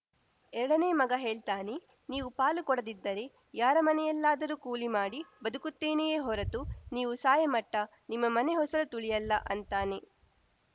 ಎರಡನೆ ಮಗ ಹೇಳ್ತಾನೆ ನೀವು ಪಾಲು ಕೊಡದಿದ್ದರೆ ಯಾರಮನೆಯಲ್ಲಾದರೂ ಕೂಲಿಮಾಡಿ ಬದುಕುತ್ತೇನೆಯೇ ಹೊರತು ನೀವು ಸಾಯಾಮಟ್ಟನಿಮ್ಮಮನೆ ಹೊಸಲು ತುಳಿಯಲ್ಲ ಅಂತಾನೆ